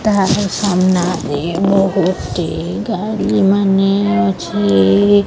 ତାହାର ସାମ୍ନା ରେ ଗୋଟିଏ ଗାଡ଼ି ମାନେ ଅଛି।